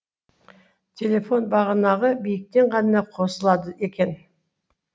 телефон бағанағы биіктен ғана қосылады екен